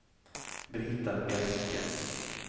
Brita Bjerke